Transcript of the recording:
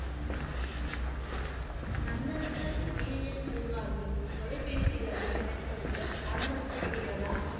நந்தன்கன் உயிரியல் பூங்காவில் தொலைபேசிகளை பயன்படுத்த அனுமதிக்கப்படுகிறதா?